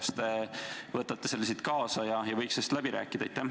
Kas te võtate selle siit kaasa ja võiks selle läbi rääkida?